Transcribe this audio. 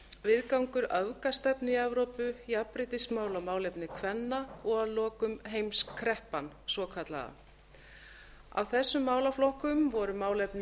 viðgangur öfgastefnu í evrópu jafnréttismál og málefni kvenna og að lokum heimskreppan svokallaða af þessum málaflokkum voru málefni